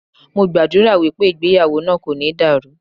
Mo gbàdúrà wípé ìgbéyàwó náà kò ní dàrú.